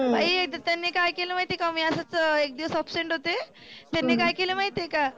बाई एकदा त्यांनी काय केलं माहिती आहे का? मी असंच एक दिवस absent होते. त्यांनी काय केलं माहिती आहे का?